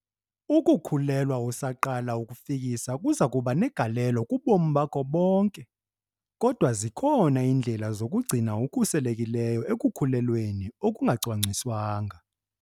UKUKHULELWA USAQALA ukufikisa kuza kuba negalelo kubomi bakho bonke, kodwa zikhona iindlela zokuzigcina ukhuselekile ekukhulelweni okungacwangciswanga.